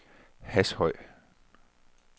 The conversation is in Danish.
Hashøj